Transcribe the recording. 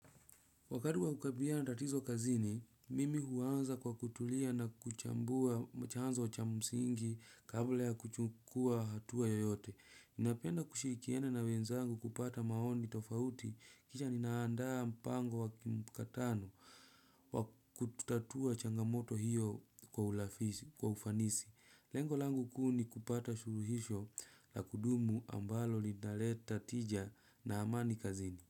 Wakati wa kukabiliana na tatizo kazini, mimi huanza kwa kutulia na kuchambua chanzo cha msingi kabla ya kuchukua hatua yoyote. Ninapenda kushirikiana na wenzangu kupata maoni tofauti kisha ninaandaa mpango wa kimkutano wa kutatua changamoto hiyo kwa ufanisi. Lengo langu kuu ni kupata suluhisho la kudumu ambalo litaleta tija na amani kazini.